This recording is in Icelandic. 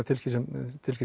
tilskipun